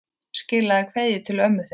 Skilaðu kveðju til ömmu þinnar.